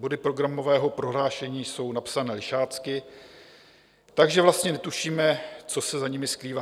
Body programového prohlášení jsou napsané lišácky, takže vlastně netušíme, co se za nimi skrývá.